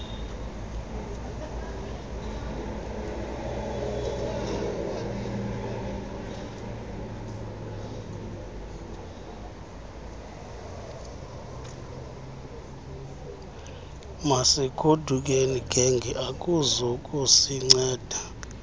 masigodukeni genge akuzukusinceda